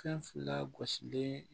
Fɛn fila gosilen